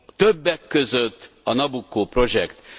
többek között a Nabucco projekt.